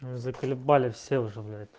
заколебали все уже блять